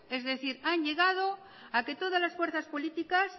es decir han llegado a que todas las fuerzas políticas